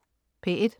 P1: